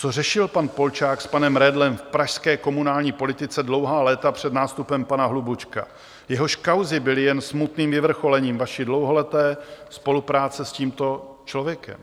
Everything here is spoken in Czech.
Co řešil pan Polčák s panem Redlem v pražské komunální politice dlouhá léta před nástupem pana Hlubučka, jehož kauzy byly jen smutným vyvrcholením vaší dlouholeté spolupráce s tímto člověkem?